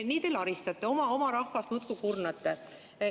Nii te laristate, oma rahvast muudkui kurnate.